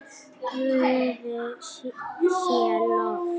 Guði sé lof.